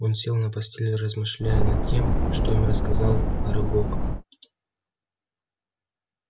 он сел на постель размышляя над тем что им рассказал арагог